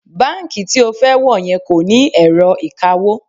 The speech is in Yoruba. Báǹkì tí o fẹ́ wọ̀ yẹn kò ní ẹ̀rọ ìkawó